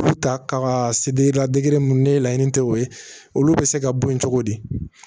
U ta ka se ni laɲini tɛ o ye olu bɛ se ka bɔ yen cogo di